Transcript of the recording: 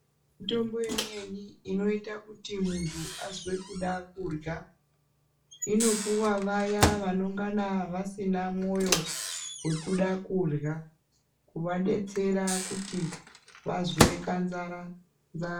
Mitombo imweni inoita kuti muntu azwe kuda kurya inopuwa vayana vanongana vasina mwoyo wekuda kurya kuvadetsera kuti vazwe kanzara nzara.